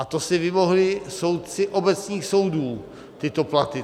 A to si vymohli soudci obecných soudů, tyto platy.